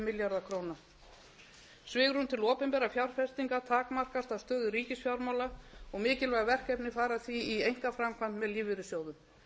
milljarða króna svigrúm til opinberra fjárfestinga takmarkast af stöðu ríkisfjármála og mikilvæg verkefni fara því í einkaframkvæmd með lífeyrissjóðum